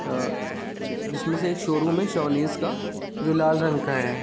अ जिसमें से एक शोरूम है सोनिस का जो लाल रंग का हैं।